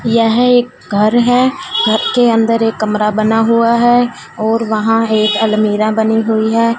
यह एक घर है घर के अंदर एक कमरा बना हुआ है और वहां एक अलमीरा बनी हुई है।